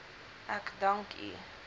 ek dank u